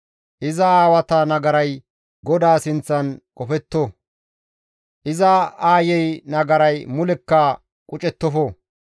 Iza aawata nagaray GODAA sinththan qofetto; iza aayey nagaray mulekka qucettofo!